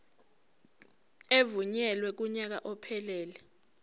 evunyelwe kunyaka ophelele